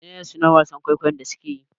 Menene sunan wasan kwaikwayon da suke yi?